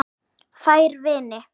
Fær vini